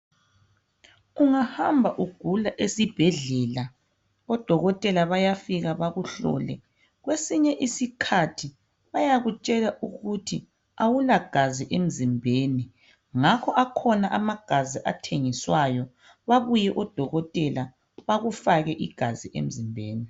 Ungahamba ugula esibhedlela, odokotela bayafika bakuhlole. Kwesinye isikhathi bayakutshela ukuthi awulagazi emzimbeni. Ngakho akhona amagazi athengiswayo, babuye odokotela bakufake igazi emzimbeni.